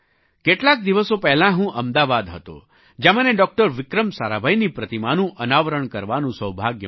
કેટલાક દિવસો પહેલાં હું અમદાવાદ હતો જ્યાં મને ડૉક્ટર વિક્રમ સારાભાઈની પ્રતિમાનું અનાવરણ કરવાનું સૌભાગ્ય મળ્યું